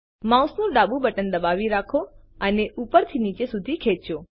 માઉસનું ડાબું બટન દબાવી રાખો અને ઉપરથી નીચે સુધી ખેંચો